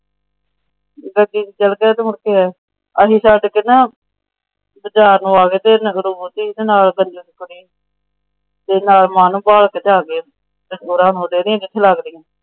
ਚਲੇ ਗਏ ਮੁੜ ਕੇ। ਅਸੀਂ ਛੱਡ ਕੇ ਨਾ ਬਾਜ਼ਾਰ ਨੂੰ ਆ ਗਏ ਸਾ।